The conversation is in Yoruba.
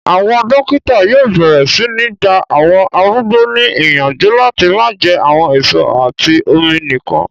Àwọn dókítà yóò bẹ̀rẹ̀ sí ní gba àwọn arúgbó ní yànjú láti máa jẹ àwọn èso àti omi nìkan